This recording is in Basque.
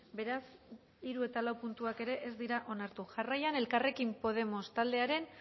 beraz hiru eta lau puntuak ere ez dira onartu jarraian elkarrekin podemos taldearen